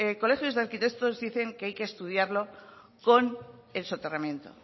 colegios de arquitectos dicen que hay que estudiarlo con el soterramiento